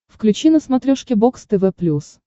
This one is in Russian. включи на смотрешке бокс тв плюс